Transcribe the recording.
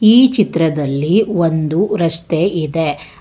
ಈ ಚಿತ್ರದಲ್ಲಿ ಒಂದು ರಸ್ತೆ ಇದೆ.